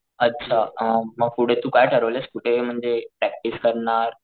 अच्छा मी पुढे तू काय ठरवलयस कुठे म्हणजे प्रॅक्टिस करणार ?